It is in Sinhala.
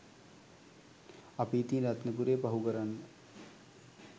අපි ඉතින් රත්නපුරේ පහු කරන්න